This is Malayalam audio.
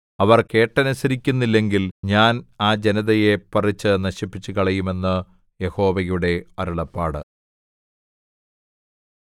അവർ കേട്ടനുസരിക്കുന്നില്ലെങ്കിൽ ഞാൻ ആ ജനതയെ പറിച്ച് നശിപ്പിച്ചുകളയും എന്ന് യഹോവയുടെ അരുളപ്പാട്